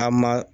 A ma